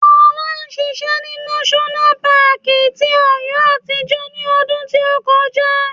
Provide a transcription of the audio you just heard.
Fola ṣiṣẹ́ ní náṣọ́nà paàkì ti Ọ̀yọ́ àtijọ́ ní ọdún tí ó kọjá